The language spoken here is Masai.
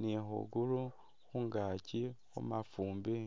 nu khugulu khungaki khumafumbi